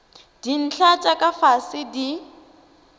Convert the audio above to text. dintlha tša ka fase di